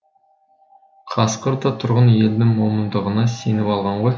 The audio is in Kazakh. қасқыр да тұрғын елдің момындығына сеніп алған ғой